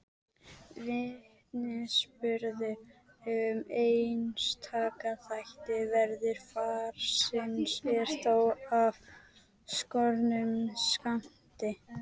Vitnisburður um einstaka þætti veðurfarsins er þó af skornum skammti.